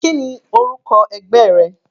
Kíni orúkọ ẹgbẹ́ rẹ?